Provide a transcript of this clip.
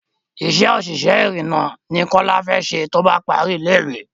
Isé òṣìṣẹ́ ìrììnà ni kọ́lá fẹ ṣe tóbá parí ilé ìwé